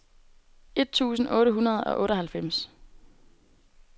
et tusind otte hundrede og otteoghalvfems